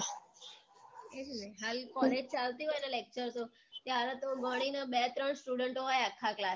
એ જ ને હાલ college ચાલતી હોય ને lecture તો ત્યારે તો ઘણીને બે ત્રણ student હોય આખાં class માં